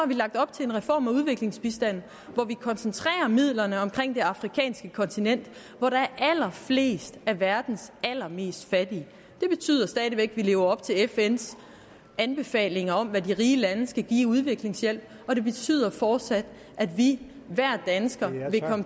vi lagt op til en reform af udviklingsbistanden hvor vi koncentrerer midlerne omkring det afrikanske kontinent hvor der er allerflest af verdens allermest fattige det betyder stadig væk at vi lever op til fns anbefalinger om hvad de rige lande skal give i udviklingshjælp og det betyder fortsat at vi hver dansker vil komme